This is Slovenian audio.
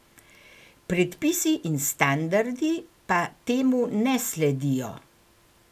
Predpisi in standardi pa temu ne sledijo.